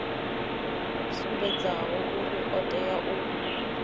sumbedzaho uri o tea u